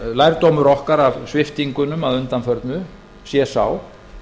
lærdómur okkar af sviptingunum að undanförnu sé sá